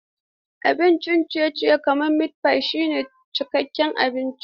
Abincin ciye-ciye kamar mitpai shine cikakken abinci.